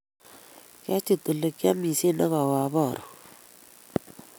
Kyachit olegiamishen agawe abaru